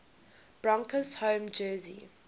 broncos home jersey